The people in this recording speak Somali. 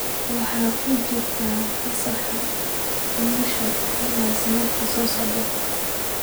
Waxay ku jirtaa fasaxa umusha ilaa sanadka soo socda.